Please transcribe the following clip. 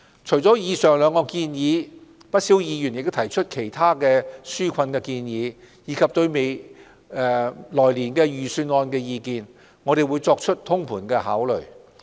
除了以上兩項建議，不少議員提出了其他紓困建議，以及對來年預算案的意見，我們會作通盤的考慮。